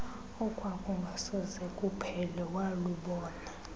okwakungasoze kuphele walubona